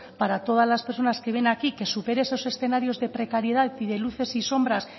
para todas las personas que ven aquí que supere esos escenarios de precariedad y de luces y sombras